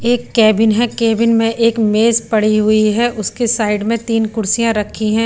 एक कैबिन है कैबिन में एक मेज पड़ी हुई है उसके साइड में तीन कुर्सियां रखी हैं।